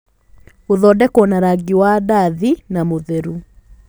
Gũthondekwo na rangi wa ndathi na mũtheru